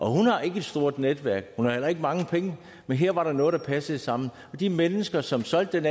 hun har ikke et stort netværk og hun har heller ikke mange penge men her var der noget der passede sammen de mennesker som solgte den